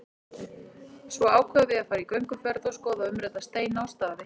Svo ákveðum við að fara í gönguferð og skoða umrædda steina og staði.